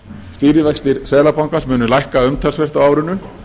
stýrivextir seðlabankans muni lækka umtalsvert á árinu